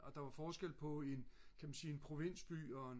og der var forskel på en kan man sige en provinsby og en